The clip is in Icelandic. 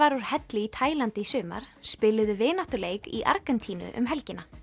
úr helli í Taílandi í sumar spiluðu vináttuleik í Argentínu um helgina